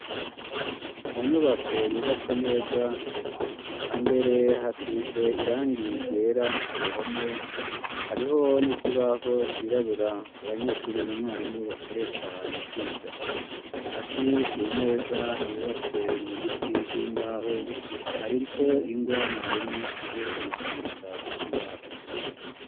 Mu nyubako, yubatse neza, imbere hasize irangiye ryera, ku ruhome; hariho n'ikibaho cirabura, abanyeshuri na mwarimu, bakoresha mu kwiga; hasi ku meza, yubatse mu biti vy'imbaho, hariko ingwa, mwarimu akoresha, mu kwandika ku kibaho.